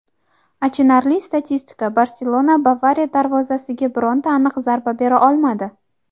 Achinarli statistika: "Barselona" "Bavariya" darvozasiga bironta aniq zarba bera olmadi;.